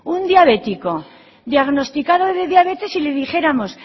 un diabético diagnosticado de diabetes y le dijéramos